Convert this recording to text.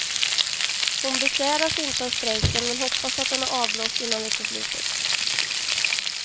Hon besväras inte av strejken men hoppas att den är avblåst innan veckoslutet.